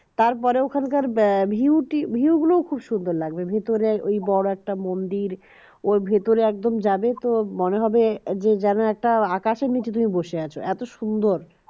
তারপরে ওখানকার view টি view গুলো খুব সুন্দর লাগবে ভিতরে ওই বড় একটা মন্দির ওই ভিতর একদম যাবে তো মনে হবে যেন একটা আকাশের নিচে তুমি বসে আছো এত সুন্দর